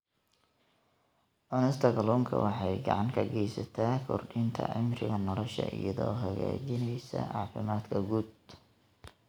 Cunista kalluunka waxay gacan ka geysataa kordhinta cimriga nolosha iyadoo hagaajinaysa caafimaadka guud.